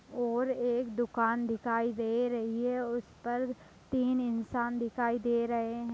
और एक दुकान दिखाई दे रही है उस पर तीन इंसान दिखाई दे रहे हैं।